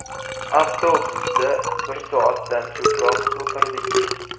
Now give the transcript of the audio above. Avtobusda bir soatdan ko‘proq o‘tirdik.